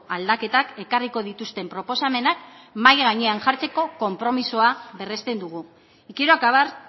aldaketak ekarriko dituzten proposamenak mahai gainean jartzeko konpromisoa berresten dugu y quiero acabar